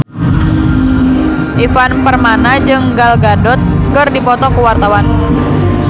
Ivan Permana jeung Gal Gadot keur dipoto ku wartawan